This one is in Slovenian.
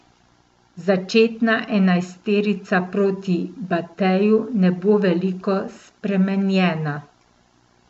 Začetna enajsterica proti Bateju ne bo veliko spremenjena.